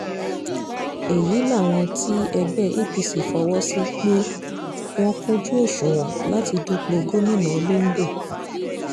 èyí làwọn tí ẹgbẹ́ apc fọwọ́ sí pé wọ́n kúnjú òṣùwọ̀n láti dúpọ̀ gómìnà londo